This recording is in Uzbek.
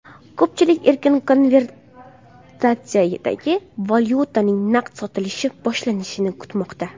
Ko‘pchilik erkin konvertatsiyadagi valyutaning naqd sotilishi boshlanishini kutmoqda.